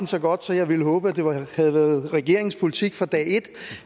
så godt så jeg havde håbet at det havde været regeringens politik fra dag et